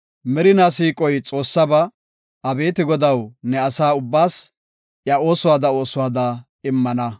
Merinaa siiqoy Xoossaba; Abeeti Godaw, ne asa ubbaas iya oosuwada oosuwada immana.